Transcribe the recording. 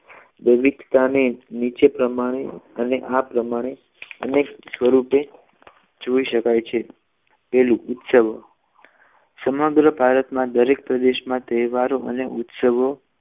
વિવિધતા અને નીચે પ્રમાણે અને આ આ પ્રમાણે અને અનેક સ્વરૂપે જોઈ શકાય છે પહેલુ ઉત્સવો સમગ્ર ભારતમાં દરેક પ્રદેશમાં તહેવારોનો ઉત્સવ